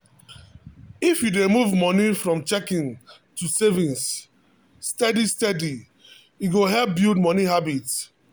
if you dey move money from checking to savings steady steady e go help build money habit.